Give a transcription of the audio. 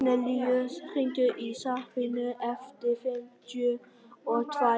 Kornelíus, hringdu í Sabínu eftir fimmtíu og tvær mínútur.